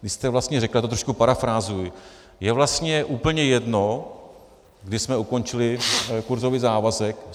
Vy jste vlastně řekl - já to trošku parafrázuji - je vlastně úplně jedno, kdy jsme ukončili kurzový závazek.